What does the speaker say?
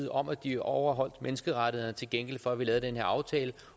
om at de overholdt menneskerettighederne til gengæld for at vi lavede den her aftale